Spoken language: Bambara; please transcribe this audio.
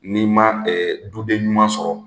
N'i ma du den ɲuman sɔrɔ,